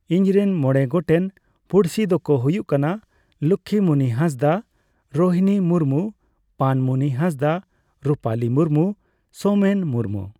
ᱤᱧ ᱨᱮᱱ ᱢᱚᱬᱮ ᱜᱚᱴᱮᱱ ᱯᱩᱲᱥᱤ ᱫᱚᱠᱚ ᱦᱩᱭᱩᱜ ᱠᱟᱱᱟ ᱞᱚᱠᱠᱷᱤ ᱢᱩᱱᱤ ᱦᱟᱸᱥᱫᱟ, ᱨᱚᱦᱤᱱᱤ ᱢᱩᱨᱢᱩ, ᱯᱟᱱ ᱢᱩᱱᱤ ᱦᱟᱸᱥᱫᱟ, ᱨᱩᱯᱟᱞᱤ ᱢᱩᱨᱢᱩ, ᱥᱳᱢᱮᱱ ᱢᱩᱨᱢᱩ ᱾